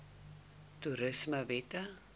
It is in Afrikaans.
toerismewette